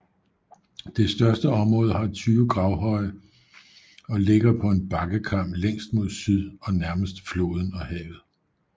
Det største område har 20 gravhøje og ligger på en bakkekam længst mod syd og nærmest floden og havet